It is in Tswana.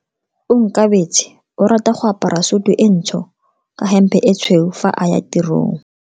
Onkabetse o rata go apara sutu e ntsho ka hempe e tshweu fa a ya tirong.